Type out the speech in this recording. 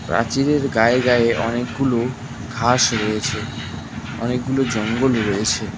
প্রাচীরের গায়ে গায়ে অনেকগুলো ঘাস রয়েছে অনেকগুলো জঙ্গল রয়েছে।